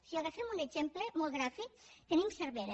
si agafem un exemple molt gràfic tenim cervera